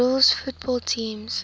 rules football teams